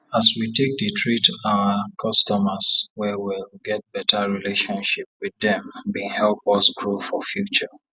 as we take dey treat oir customers well well get beta relationship with dem bin help us grow for future